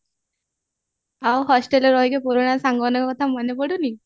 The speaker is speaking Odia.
ଆଉ hostelରେ ରହିକି ପୁରା ସାଙ୍ଗ ମାନଙ୍କ କଥା ମାନେ ପଡୁନି